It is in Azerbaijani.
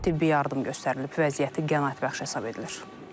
Ona tibbi yardım göstərilib, vəziyyəti qənaətbəxş hesab edilir.